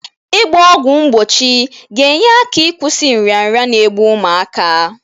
Ị gba ọgwụ mgbochi ga-enye aka ịkwụsị nrịanrịa n'egbụ ụmụaka.